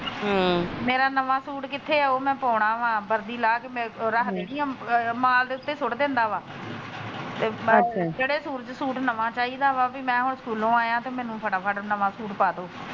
ਹਮ ਮੇਰਾ ਨਵਾ ਸੂਟ ਕਿਥੇ ਉਹ ਮੈ ਪਾਉਣਵਾ ਬਰਦੀ ਲਾਹ ਕੇ ਰੱਖ ਦੇਣੀ ਆ ਮਾਂ ਦੇ ਉਤੇ ਸੁਟ ਦਿੰਦਾ ਵਾ ਅੱਛਾ ਤੇ ਜਿਹੜੇ ਸੂਟ ਨਵਾ ਚਾਹੀਦਾ ਵਾ ਮੈ ਹੁਣ ਸਕੂਲੋ ਆਇਆ ਤੇ ਮੈਨੂੰ ਫਟਾ ਫਟ ਨਵਾ ਸੂਟ ਪਾਦੋ।